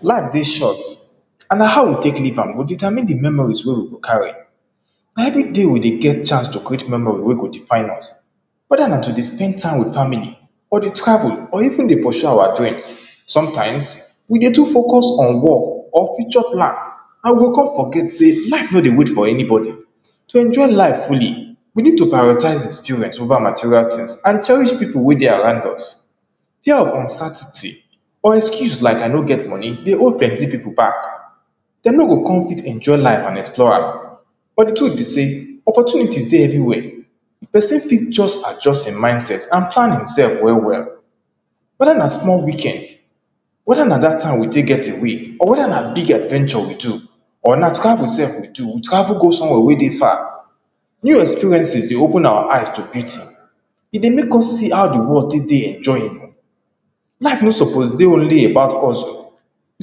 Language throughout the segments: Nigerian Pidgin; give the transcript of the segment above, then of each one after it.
Life dey short and na how we take live am go determine di memory wey we go carry, na everyday we dey get chance to create memory wey we go define us wether na to dey spend time with family or to travel or even to pursue our dreams sometimes we dey too focus on work or future plans and we go kon forget sey life no dey wait for anybody, to enjoy life fully we need to prioritize experience over material tins and cherish pipu wey dey around us, fear of gastartity or excuse like I no get money dey hold plenty pipu back dem no go kon fit enjoy life and explore am but di truth be sey opportunities dey everywhere pesin fit just adjust im mindset and plan im sef well well, wether na small weekends or wether na dat time we get away or wether na big adventure we do or na travel sef we do we travel go somewhere wey dey far, new experiences dey open our eyes to beauty e dey make us see how di world take dey enjoyable, life no suppose dey only about hustle e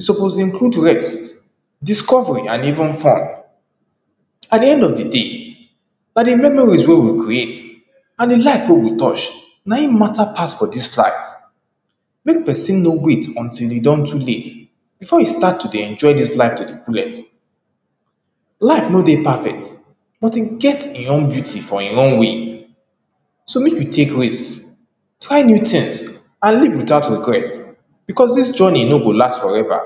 suppose include rest, discovery and even farm by di end of di day na di journey wey we create and di life wey we touch naim matter pass for dis life make pesin no wait until e don too late before e start to dey enjoy dis life to di fullest, life no dey perfect but e get im own beauty for e own way so make we take rest, try new tins and live without regret becos dis journey no go last forever.